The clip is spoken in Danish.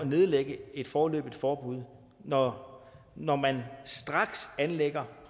nedlægge et foreløbigt forbud når når man straks anlægger